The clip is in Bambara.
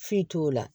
Foyi t'o la